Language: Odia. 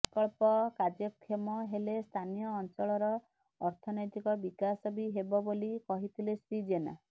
ପ୍ରକଳ୍ପ କାର୍ଯ୍ୟକ୍ଷମ ହେଲେ ସ୍ଥାନୀୟ ଅଂଚଳର ଅର୍ଥନୈତିକ ବିକାଶ ବି ହେବ ବୋଲି କହିଥିଲେ ଶ୍ରୀ ଜେନା